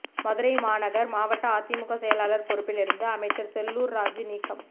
மதுரை மாநகர் மாவட்ட அதிமுக செயலாளர் பொறுப்பிலிருந்து அமைச்சர் செல்லூர் ராஜூ நீக்கம்